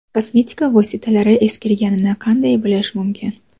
Kosmetika vositalari eskirganini qanday bilish mumkin?.